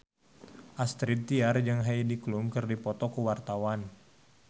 Astrid Tiar jeung Heidi Klum keur dipoto ku wartawan